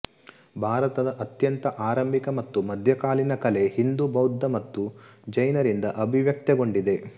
ಭಾರತದ ಅತ್ಯಂತ ಆರಂಭಿಕ ಮತ್ತು ಮಧ್ಯಕಾಲೀನ ಕಲೆ ಹಿಂದೂ ಬೌದ್ಧ ಮತ್ತು ಜೈನರಿಂದ ಅಭಿವ್ಯಕ್ತಗೊಂಡಿದೆ